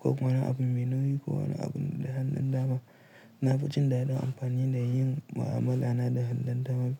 Kowane abin me nauyi ko wani abin da hannun dama. Na fi jin daɗin amfani da yin mu'amala na da hannun dama.